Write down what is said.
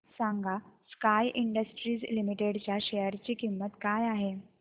सांगा sky industries limited च्या share ची किंमत काय आहे